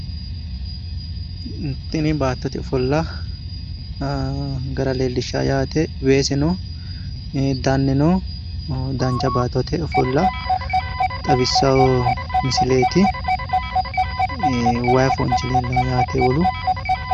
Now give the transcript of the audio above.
Tini baattote ofolla gara leellishshawo yaate weese no danne no dancha baattote ofolla xawissawo misileeti waayi foonchi leellawo yaate wolu.